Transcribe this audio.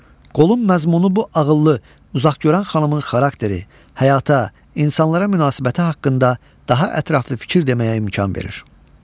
Qolun məzmunu bu ağıllı, uzaqgörən xanımın xarakteri, həyata, insanlara münasibəti haqqında daha ətraflı fikir deməyə imkan verir.